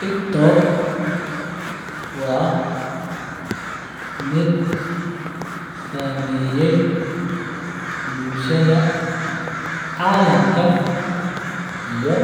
Tiktok waa mid sameyay bulshaada calamka iyo